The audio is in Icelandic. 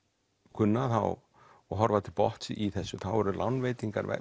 kunna og horfa til botns í þessu þá eru lánveitingar